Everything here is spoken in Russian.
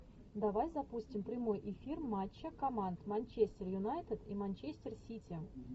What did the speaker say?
давай запустим прямой эфир матча команд манчестер юнайтед и манчестер сити